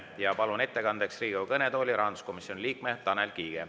Ma palun ettekandeks Riigikogu kõnetooli rahanduskomisjoni liikme Tanel Kiige.